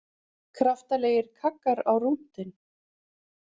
Kraftalegir kaggar á rúntinn